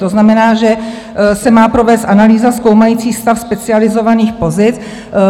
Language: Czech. To znamená, že se má provést analýza zkoumající stav specializovaných pozic.